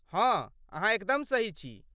हँ अहाँ एकदम सही छी।